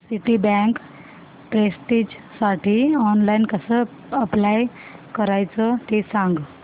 Citibank प्रेस्टिजसाठी online कसं apply करायचं ते सांग